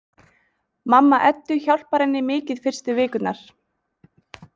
Mamma Eddu hjálpar henni mikið fyrstu vikurnar.